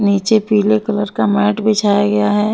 नीचे पीले कलर का मैट बिछाया गया है।